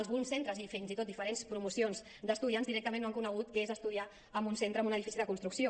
alguns centres i fins i tot diferents promocions d’estudiants directament no han conegut què és estudiar en un centre amb un edifici de construcció